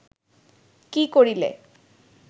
কি করিলে